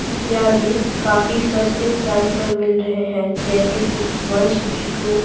इत्यादि काफी सस्ते प्राइस पर मिल रहे हैंजैसे कि वन सिक्सटी टू --